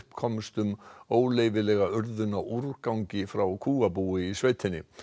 komst um óleyfilega urðun á úrgangi frá kúabúi í sveitinni